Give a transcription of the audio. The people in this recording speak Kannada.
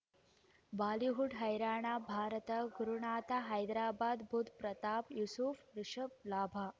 ಬಾಲಿವುಡ್ ಹೈರಾಣ ಭಾರತ ಗುರುನಾಥ ಹೈದರಾಬಾದ್ ಬುಧ್ ಪ್ರತಾಪ್ ಯೂಸುಫ್ ರಿಷಬ್ ಲಾಭ